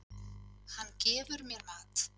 Hann gefur mér mat.